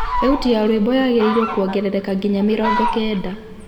thaũtĩ ya rwĩmbo yagiriirwo kuongerereka nginya mĩrongo kenda